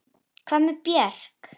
Hvað með Björk?